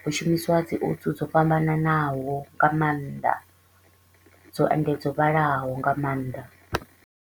hu shumisiwa dzi oats dzo fhambananaho nga maanḓa dzo and dzo vhalaho nga maanḓa.